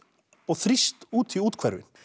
og þrýst út í úthverfin